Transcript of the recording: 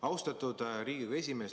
Austatud Riigikogu esimees!